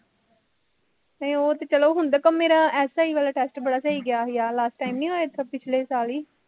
ਨਹੀ ਉਹ ਤੇ ਚੱਲੋ ਹੁੰਦਾ, ਪਰ ਮੇਰਾ SI ਵਾਲਾ test ਬੜਾ ਸਹੀ ਗਿਆ ਸੀਗਾ, last time ਨਹੀਂ ਹੋਇਆ ਇਸ ਵਾਰ ਪਿਛਲੇ ਸਾਲ ਹੀ